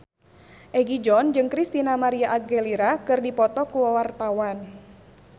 Egi John jeung Christina María Aguilera keur dipoto ku wartawan